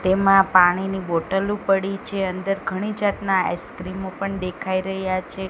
તેમા પાણીની બોટલો પડી છે અંદર ઘણી જાતના આઈસ્ક્રીમો પણ દેખાઈ રહ્યા છે.